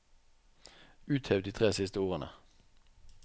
Uthev de tre siste ordene